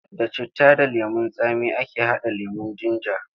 Da citta da lemon tsami ake haɗa lemon jinja.